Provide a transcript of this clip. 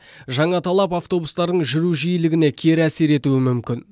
жаңа талап автобустардың жүру жиілігіне кері әсер етуі мүмкін